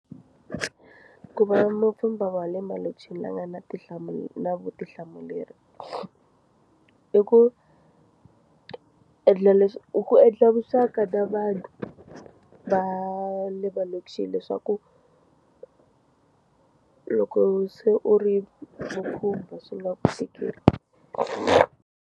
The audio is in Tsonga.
Ku va mupfhumba wa le malokixini la nga na tinhlamulo na vutihlamuleri i ku endla leswi ku endla vuxaka na vanhu va le malokixini leswaku loko se u ri va khumba swi nga Ku .